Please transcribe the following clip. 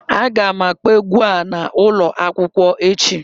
Aga m akpọ egwu a n'ụlọ akwụkwọ echi